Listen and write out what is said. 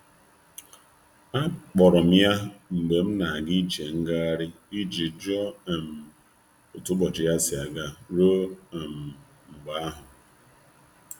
Akpọrọ m ya mgbe m na'aga ije ngaghari i ji jụọ um otu ụbọchị ya si aga ruo um mgbe ahụ.